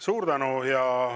Suur tänu!